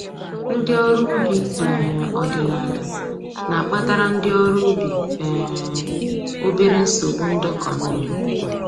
Ndị ọrụ ubi um ọdịnaala na-akpatara ndị ọrụ ubi um obere nsogbu ndọkọ mmiri